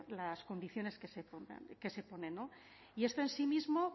las condiciones que se ponen no y esto en sí mismo